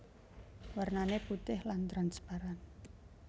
Warnane putih lan transparan